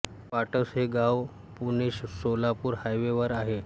पाटस हे गाव पुणे सोलापूर हायवे वर आहे